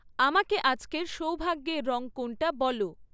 আমাকে আজকের সৌভাগ্যের রং কোনটা বলো